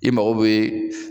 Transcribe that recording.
I mago bɛ